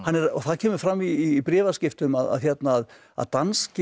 það kemur fram í bréfaskiftum að danska